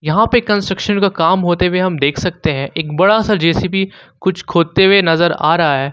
यहां पर कंस्ट्रक्शन का काम होते हुए हम देख सकते हैं एक बड़ा सा जे_सी_बी कुछ खोदते हुए नजर आ रहा है।